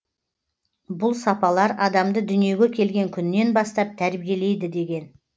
бұл сапалар адамды дүниеге келген күннен бастап тәрбиелейді деген